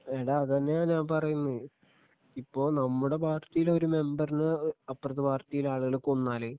എടാ അതന്നെയാ ഞാൻ പറയുന്നേ ഇപ്പോ നമ്മുടെ പാർട്ടിയിലെ ഒരു മെമ്പറിനെ അപ്പുറത്തെ പാർട്ടിയിലെ ആളുകള് കൊന്നാല്